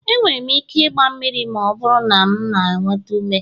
E nwere m ike igba mmiri ma ọ bụrụ na m nweta ume.